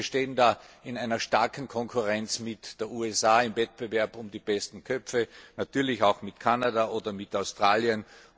Sie wissen, wir stehen da in einer starken Konkurrenz mit den USA im Wettbewerb um die besten Köpfe, natürlich auch mit Kanada oder mit Australien.